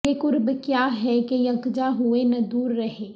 یہ قرب کیا ہے کہ یک جاں ہوئے نہ دور رہے